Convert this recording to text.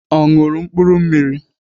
Ọ ṅụrụ mkpụrụ mmiri?